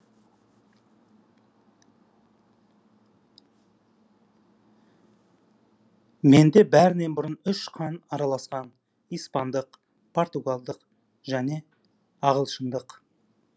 менде бәрінен бұрын үш қан араласқан испандық португалдық және англиялық